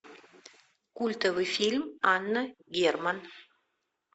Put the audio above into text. культовый фильм анна герман